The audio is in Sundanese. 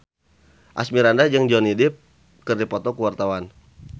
Asmirandah jeung Johnny Depp keur dipoto ku wartawan